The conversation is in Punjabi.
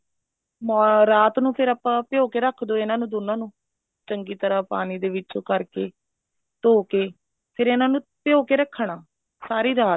ਰਾਤ ਨੂੰ ਫ਼ੇਰ ਆਪਾਂ ਭਿਓਂ ਕੇ ਰੱਖ ਦੋ ਇਹਨਾ ਦੋਨਾ ਨੂੰ ਚੰਗੀ ਤਰ੍ਹਾਂ ਪਾਣੀ ਦੇ ਵਿੱਚ ਉਹ ਕਰਕੇ ਫ਼ੇਰ ਇਹਨਾ ਨੂੰ ਭਿਓਂ ਕੇ ਰੱਖਣਾ ਸਾਰੀ ਰਾਤ